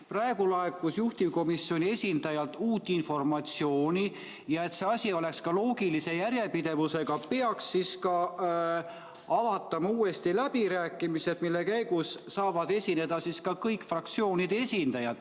Praegu laekus juhtivkomisjoni esindajalt uut informatsiooni ja et see asi oleks ka loogilise järjepidevusega, siis peaks avatama uuesti läbirääkimised, mille käigus saavad esineda kõik fraktsioonide esindajad.